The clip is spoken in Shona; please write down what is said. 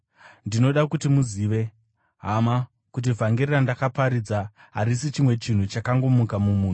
Ndinoda kuti muzive, hama, kuti vhangeri randakaparidza harisi chimwe chinhu chakangomuka mumunhu.